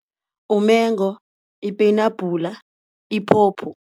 Umengo, ipeyinabhula, iphopho.